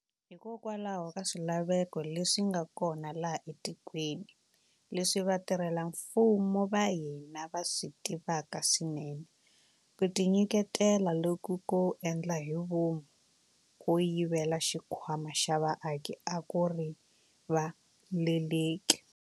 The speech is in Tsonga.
Hikokwalaho ka swilaveko leswi nga kona laha etikweni, leswi vatirhela mfumo va hina va swi tivaka swinene, ku tinyiketela loku ko endla hi vomu ko yivela xikhwama xa vaaki a ku rivaleleki.